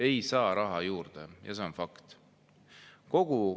Ei saa raha juurde ja see on fakt!